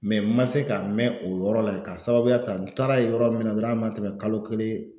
ma se ka mɛ o yɔrɔ la k'a sababuya ta n taara ye yɔrɔ min na dɔrɔn a ma tɛmɛ kalo kelen